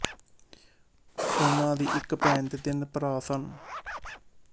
ਉਹਨਾਂ ਦੀ ਇੱਕ ਭੈਣ ਅਤੇ ਤਿੰਨ ਭਰਾ ਸਨ